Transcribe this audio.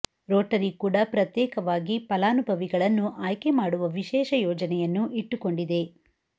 Rotary ಕೂಡ ಪ್ರತ್ಯೇಕವಾಗಿ ಫಲಾನುಭವಿಗಳನ್ನು ಆಯ್ಕೆ ಮಾಡುವ ವಿಶೇಷ ಯೋಜನೆಯನ್ನು ಇಟ್ಟುಕೊಂಡಿದೆ